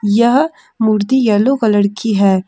यह मूर्ति yellow colour की है।